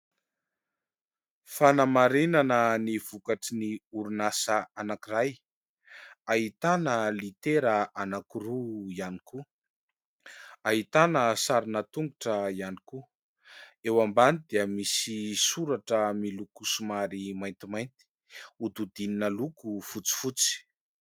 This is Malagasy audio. Fanamarinana ny vokatry ny orinasa anakiray, ahitana litera anakiroa ihany koa, ahitana sarina tongotra ihany koa, eo ambany dia misy soratra miloko somary maintimainty hodidinina loko fotsifotsy.